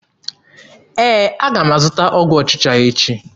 Ee, aga m azụta ọgwụ ọchịcha echi.